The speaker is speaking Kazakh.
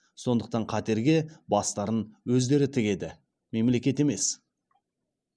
сондықтан қатерге бастарын өздері тігеді мемлекет емес